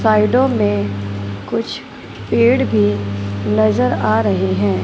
साइडों में कुछ पेड़ भी नजर आ रहे हैं।